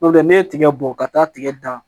N'o tɛ ne bɔ ka taa tigɛ dan